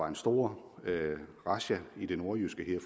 en stor razzia i det nordjyske en